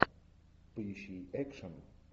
поищи экшн